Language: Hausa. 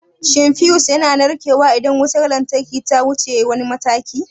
Shin fiyus yana narkewa idan wutar lantarki ta wuce wani mataki?